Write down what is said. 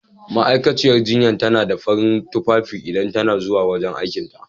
Ma'aikatar jinya tana sa farin tufafi idan ta na zuwa wajen aikin ta.